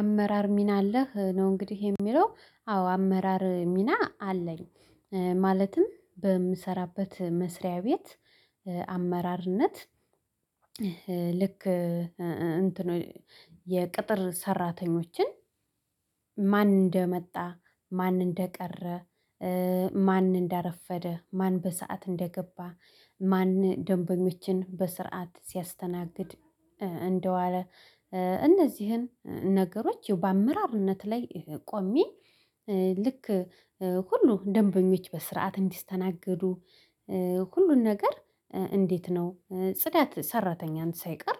አመራር ሚና አለህ ነው? እንግዲህ የሚለው አዎ አመራር ሚና አለኝ። ማለትም በምሰራበት መስሪያ ቤት አመራርነት ልክ እንትን የቅጥር ሰራተኞችን ማን እንደመጣ ማን እንደቀረ ማን እንዳረፈደ ማን በሰአት እንደገባ ማን ደንበኞችን በስርዓት ሲያስተናግድ እንደዋለ እነዚህን ነገሮች በአመራርነት ላይ ቆሜ። ልክ ሁሉ ደንበኞች በስርዓት እንዲስተናገዱ ሁሉን ነገር እንዴት ነው ጽዳት ሰራተኛን ሳይቀር?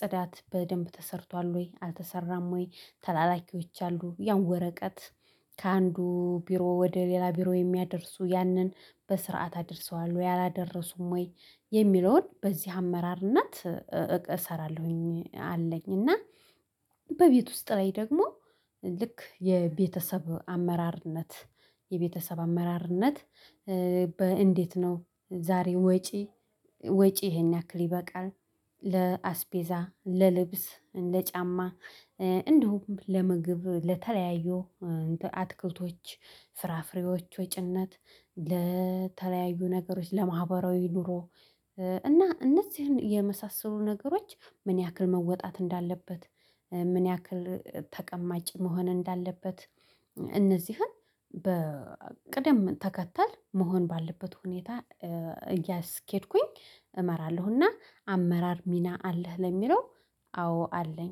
ጽዳት በደንብ ተሰርቷል ወይ አልተሰራም ወይ ተላላኪዎች አሉ ያው ወረቀት ከአንዱ ቢሮ ወደ ሌላ ቢሮ የሚያደርሱ ያንን በስርዓት አደርሰዋል ወይ አላደረሱም ወይ የሚለውን በዚህ አመራርነት እሰራለሁኝ አለኝ። እና በቤት ውስጥ ላይ ደግሞ ልክ የቤተሰብ አመራርነት የቤተሰብ አመራርነት። በእንዴት ነው ዛሬ ወጪ ወጪ ይሄን ያክል ይበቃል። ለአስቤዛ ለልብስ ለጫማ እንዲሁም ለምግብ ለተለያዩ አትክልቶች ፍራፍሬዎች ወጪነት ለተለያዩ ነገሮች ለማህበራዊ ኑሮ እና እነዚህን የመሳሰሉ ነገሮች ምን ያክል መወጣት እንዳለበት ምን ያክል ተቀማጭ መሆን እንዳለበት። እነዚህን በቅደም ተከተል መሆን ባለበት ሁኔታ እያስኬድኩኝ እመራለሁና። አመራር ሚና አለህ ለሚለው አዎ አለኝ